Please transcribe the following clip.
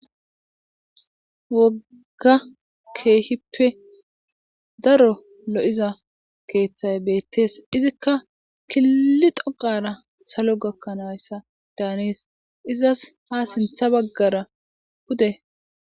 Woga kehippe daro lo"iza keththay betes izikka izikka kili dhoqara salo gakana danes izas ha sintha bagara pude